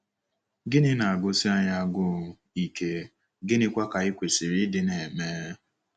Gịnị na-agụsi anyị agụụ ike, gịnịkwa ka anyị kwesịrị ịdị na-eme?